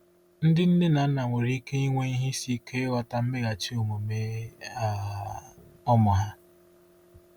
Ndị nne na nna nwere ike inwe ihe isi ike ịghọta mmeghachi omume um ụmụ ha.